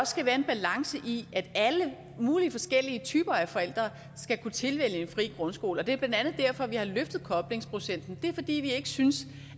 skal være en balance i at alle mulige forskellige typer af forældre skal kunne tilvælge en fri grundskole og det er blandt andet derfor vi har løftet koblingsprocenten det er fordi vi ikke synes